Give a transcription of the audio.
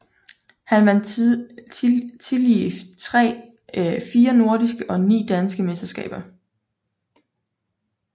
Han vandt tillige fire nordiske og ni danske mesterskaber